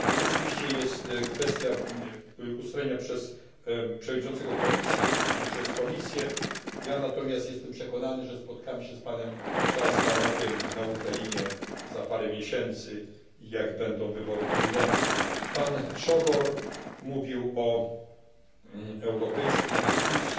To oczywiście jest kwestia do ustalenia przez Przewodniczącego Komisji i przez Komisję, ja natomiast jestem przekonany, że spotkamy się z panem Charlsem Tannockiem na Ukrainie za parę miesięcy, kiedy odbędą się wybory prezydenckie. Pan Sógor mówił o europejskiej dyskusji